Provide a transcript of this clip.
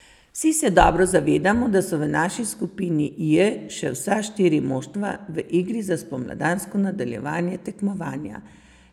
Vsi se dobro zavedamo, da so v naši skupini J še vsa štiri moštva v igri za spomladansko nadaljevanje tekmovanja.